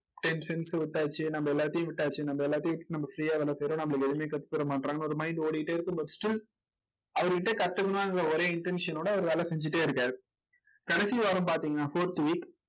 விட்டாச்சு. நம்ம எல்லாத்தையும் விட்டாச்சு. நம்ம எல்லாத்தையும் நம்ம free யா வேலை செய்யறோம். நம்மளுக்கு எதுவுமே கத்து தர மாட்டேங்கறாங்க. ஒரு mind ஓடிக்கிட்டே இருக்கு but still அவர் கிட்ட கத்துக்கணுங்கிற ஒரே intention ஓட அவர் வேலை செஞ்சுட்டே இருக்காரு. கடைசி வாரம் பாத்தீங்கன்னா fourth week